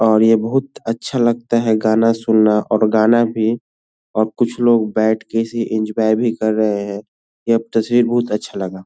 और ये बहुत अच्छा लगता है गाना सुनना और गाना भी और कुछ लोग बैठ के इसे एंजॉय भी कर रहें हैं। यह तस्वीर बहुत अच्छा लगा।